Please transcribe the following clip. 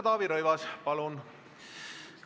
Taavi Rõivas, palun!